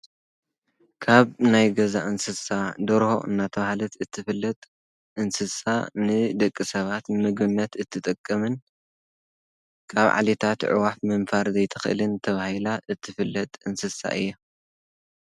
ካብ ናይ ገዛ እንስሳ ደርሆ እናተውሃለት እትፍለጥ እንስሳ ንደቂ ሰባት ምግነት እትጠቀምን ካብ ዓሊታት ዕዋፍ ምንፋር ዘይትኽልን ተብሂላ እትፍለጥ እንስሳ እያ።